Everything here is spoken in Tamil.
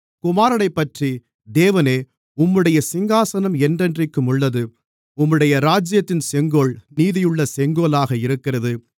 குமாரனைப்பற்றி தேவனே உம்முடைய சிங்காசனம் என்றென்றைக்கும் உள்ளது உம்முடைய ராஜ்யத்தின் செங்கோல் நீதியுள்ள செங்கோலாக இருக்கிறது